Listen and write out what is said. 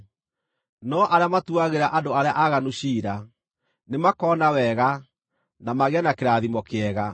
No arĩa matuagĩra andũ arĩa aaganu ciira, nĩmakona wega, na magĩe na kĩrathimo kĩega.